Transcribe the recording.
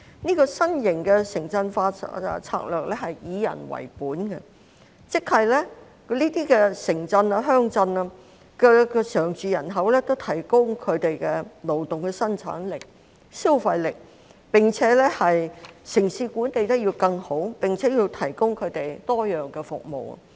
這個新型的城鎮化策略是以人為本的，即是這些城鎮、鄉鎮的常住人口，均可提高他們的勞動生產力和消費力，並且城市管理得更好，要為他們提供多樣化服務。